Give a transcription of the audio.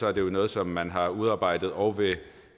er det jo noget som man har udarbejdet og